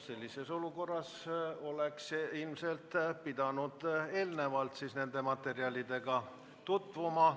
Sellises olukorras oleks ilmselt pidanud eelnevalt nende materjalidega tutvuma.